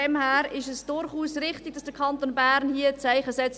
Deshalb ist es durchaus richtig, dass der Kanton Bern hier ein Zeichen setzt.